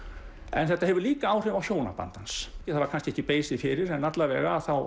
en þetta hefur líka áhrif á hjónaband hans það var kannski ekki beisið fyrir en alla vega að þá